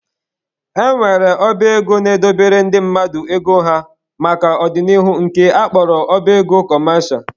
E nwere ọba ego na-edobere ndị mmadụ ego ha maka ọ dị n'ihu nke a kpọrọ ọba ego kọmesha